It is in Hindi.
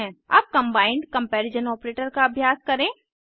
अब कम्बाइन्ड कम्पैरिजन ऑपरेटर का अभ्यास करें